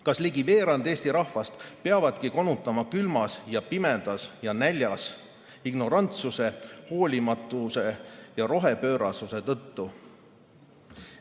Kas ligi veerand Eesti rahvast peabki konutama külmas, pimedas ja näljas ignorantsuse, hoolimatuse ja rohepöörasuse tõttu?